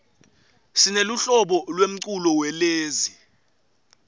sineluhlobo lemculo welezi